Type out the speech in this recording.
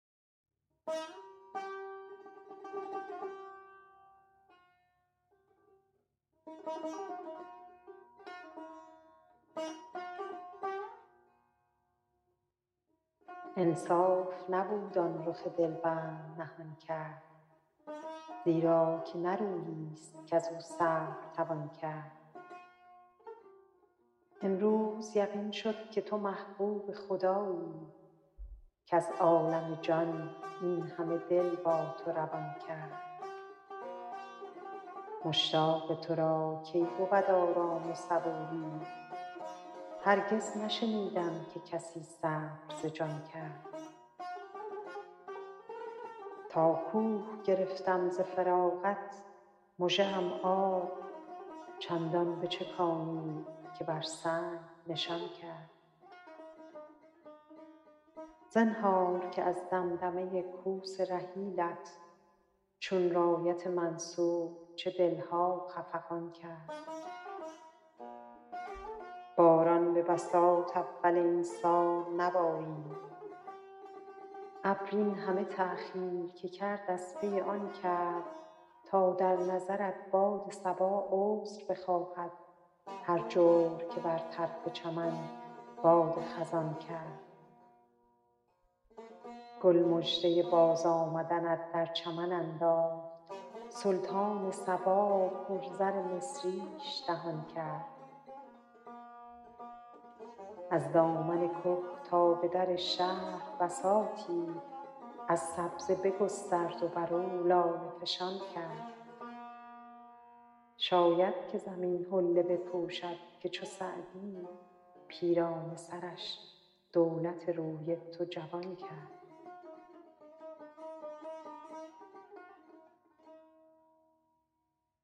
انصاف نبود آن رخ دل بند نهان کرد زیرا که نه رویی ست کز او صبر توان کرد امروز یقین شد که تو محبوب خدایی کز عالم جان این همه دل با تو روان کرد مشتاق تو را کی بود آرام و صبوری هرگز نشنیدم که کسی صبر ز جان کرد تا کوه گرفتم ز فراقت مژه ام آب چندان بچکانید که بر سنگ نشان کرد زنهار که از دمدمه کوس رحیلت چون رایت منصور چه دل ها خفقان کرد باران به بساط اول این سال ببارید ابر این همه تأخیر که کرد از پی آن کرد تا در نظرت باد صبا عذر بخواهد هر جور که بر طرف چمن باد خزان کرد گل مژده بازآمدنت در چمن انداخت سلطان صبا پر زر مصریش دهان کرد از دامن که تا به در شهر بساطی از سبزه بگسترد و بر او لاله فشان کرد شاید که زمین حله بپوشد که چو سعدی پیرانه سرش دولت روی تو جوان کرد